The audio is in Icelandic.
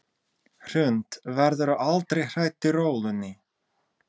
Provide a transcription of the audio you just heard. Hrund: Verðurðu aldrei hrædd í rólunni?